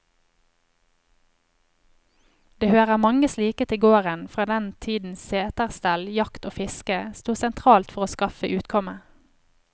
Det hører mange slike til gården fra den tiden seterstell, jakt og fiske sto sentralt for å skaffe utkomme.